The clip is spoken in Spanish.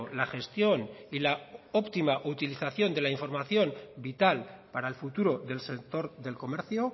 la gestión y la óptima utilización de la información vital para el futuro del sector del comercio